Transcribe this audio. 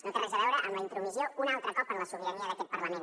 no té res a veure amb la intromissió un altre cop en la sobirania d’aquest parlament